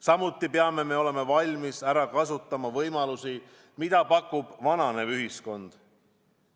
Samuti peame olema valmis ära kasutama võimalusi, mida pakub vananev ühiskond.